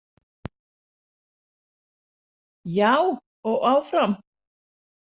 Já, og áfram.